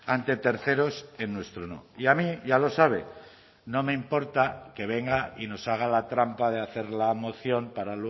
ante terceros en nuestro no y a mí ya lo sabe no me importa que venga y nos haga la trampa de hacer la moción para